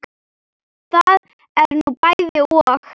Það er nú bæði og.